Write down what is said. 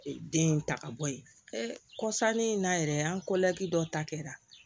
Den in ta ka bɔ ye kɔsannin in na yɛrɛ an dɔ ta kɛra